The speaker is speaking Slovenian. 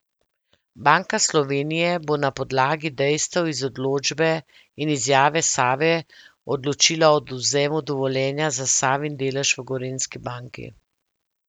Banka Slovenije bo na podlagi dejstev iz odločbe in izjave Save odločila o odvzemu dovoljenja za Savin delež v Gorenjski banki.